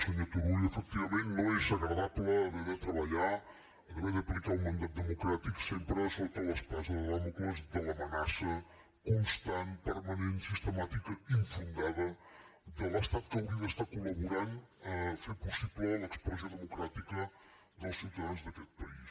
senyor turull efectivament no és agradable haver de treballar haver d’aplicar un mandat democràtic sempre sota l’espasa de dàmocles de l’amenaça constant permanent sistemàtica infundada de l’estat que hauria d’estar col·laborant a fer possible l’expressió democràtica dels ciutadans d’aquest país